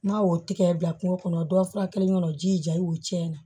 N'a y'o tigɛ bila kungo kɔnɔ dɔ fura kelen kɔnɔ ji ja i b'o cɛn na